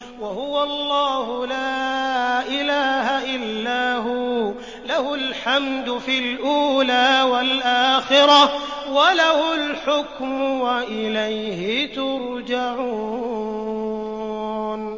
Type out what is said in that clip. وَهُوَ اللَّهُ لَا إِلَٰهَ إِلَّا هُوَ ۖ لَهُ الْحَمْدُ فِي الْأُولَىٰ وَالْآخِرَةِ ۖ وَلَهُ الْحُكْمُ وَإِلَيْهِ تُرْجَعُونَ